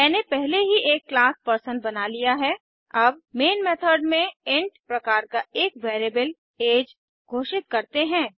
मैंने पहले ही एक क्लास पर्सन बना लिया है अब मेन मेथड में इंट प्रकार का एक वेरिएबल ऐज घोषित करते हैं